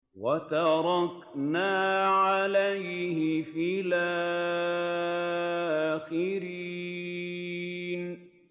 وَتَرَكْنَا عَلَيْهِ فِي الْآخِرِينَ